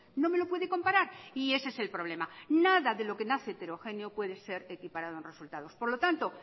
no me lo puede comparar y ese es el problema nada de lo que nace heterogéneo puede ser equiparado en resultados por lo tanto